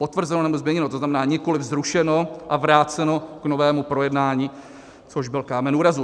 Potvrzeno, nebo změněno - to znamená, nikoliv zrušeno a vráceno k novému projednání, což byl kámen úrazu.